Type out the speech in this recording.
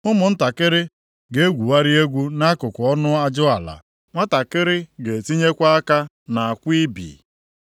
Ụmụntakịrị ga-egwugharị egwu nʼakụkụ ọnụ ajụala; nwantakịrị ga-etinyekwa aka nʼakwụ ibi.